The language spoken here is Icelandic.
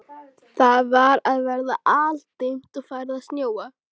Það var að verða aldimmt og farið að snjóa.